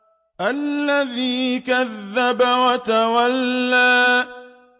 الَّذِي كَذَّبَ وَتَوَلَّىٰ